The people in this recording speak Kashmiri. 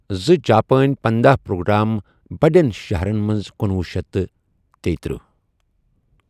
زٕ جاپان پنداہ پروٗگرام بڈین شہرن مٕنٛز کنُۄہُ شیتھ تیٖتٔرہ